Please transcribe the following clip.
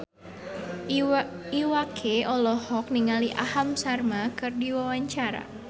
Iwa K olohok ningali Aham Sharma keur diwawancara